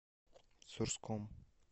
сурском